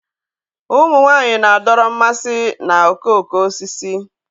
Ụmụ nwanyị na-adọrọ mmasị na okooko osisi